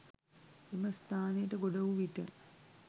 එම ස්ථානයට ගොඩ වූ විට